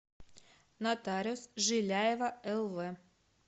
нотариус жиляева лв